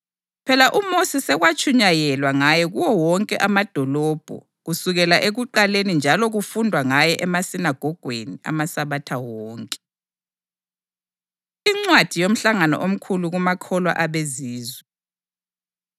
Phela uMosi sekwatshunyayelwa ngaye kuwo wonke amadolobho kusukela ekuqaleni njalo kufundwa ngaye emasinagogweni amaSabatha wonke.” Incwadi Yomhlangano Omkhulu Kumakholwa AbeZizwe